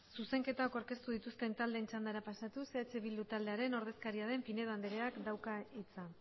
zuzenketak aurkeztu dituzten taldeen txandara pasatuz eh bildu taldearen ordezkaria den pinedo andreak dauka hitza